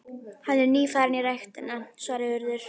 Hann er nýfarinn í ræktina- svaraði Urður.